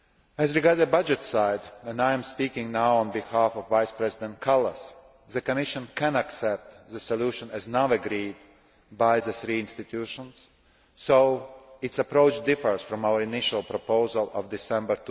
As regards the budget side and now I am speaking on behalf of Vice President Kallas the Commission can accept the solution as now agreed by the three institutions, though its approach differs from our initial proposal of December